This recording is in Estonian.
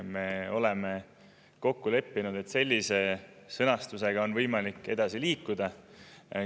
Me oleme kokku leppinud, et sellise sõnastusega on võimalik edasi liikuda.